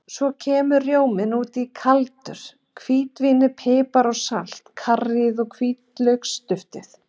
Svo kemur rjóminn út í kaldur, hvítvínið, pipar og salt, karríið og hvítlauksduftið.